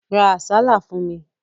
Ra àsálà fún mi.